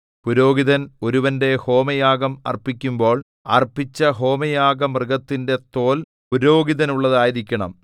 പുരോഹിതൻ ഒരുവന്റെ ഹോമയാഗം അർപ്പിക്കുമ്പോൾ അർപ്പിച്ച ഹോമയാഗമൃഗത്തിന്റെ തോല്‍ പുരോഹിതനുള്ളതായിരിക്കണം